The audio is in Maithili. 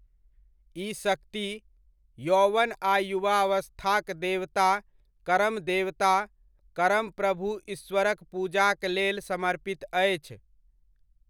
ई शक्ति, यौवन आ युवावस्थाक देवता करम देवता, करम प्रभु ईश्वर'क पूजाक लेल समर्पित अछि।